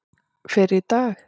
fyrr í dag.